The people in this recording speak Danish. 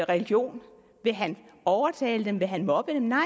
religion vil han overtale dem vil han mobbe dem nej